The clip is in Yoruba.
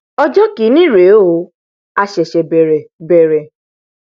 ọjọ ìkíní rèé o a ṣẹṣẹ bẹrẹ bẹrẹ